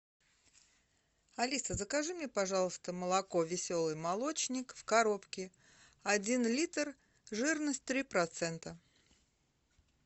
алиса закажи мне пожалуйста молоко веселый молочник в коробке один литр жирность три процента